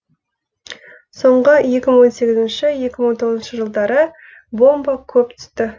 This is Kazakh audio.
соңғы екі мың он сегіз екі мың он тоғызыншы жылдары бомба көп түсті